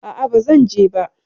A'a, ba zan je ba.